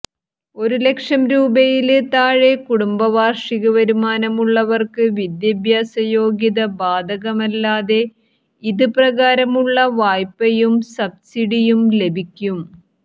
ഒരുലക്ഷം രൂപയില് താഴെ കുടുംബവാര്ഷിക വരുമാനമുള്ളവര്ക്ക് വിദ്യാഭ്യാസ യോഗ്യത ബാധകമല്ലാതെ ഇത് പ്രകാരമുള്ള വായ്പയും സബ്സിഡിയും ലഭിക്കും